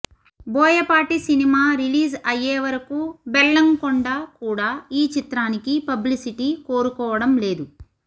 Boyapati cinema release అయ్యేవరకు బెల్లంకొండ కూడా ఈ చిత్రానికి పబ్లిసిటీ కోరుకోవడం లేదు